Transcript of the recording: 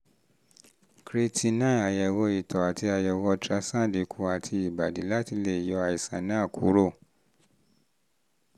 creatinine àyẹ̀wò ìtọ̀ àti àyẹ̀wò ultrasound ikùn àti ìbàdí láti lè yọ àìsàn náà kúrò